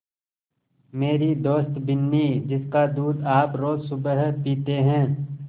मेरी दोस्त बिन्नी जिसका दूध आप रोज़ सुबह पीते हैं